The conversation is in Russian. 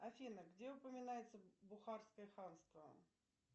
афина где упоминается бухарское ханство